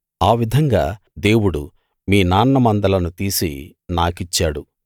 ఆ విధంగా దేవుడు మీ నాన్న మందలను తీసి నాకిచ్చాడు